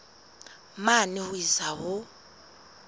mane ho isa ho a